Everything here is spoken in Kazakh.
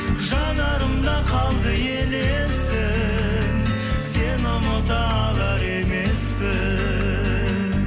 жанарымда қалды елесің сені ұмыта алар емеспін